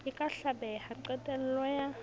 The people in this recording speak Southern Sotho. e ka hlabeha qetello ya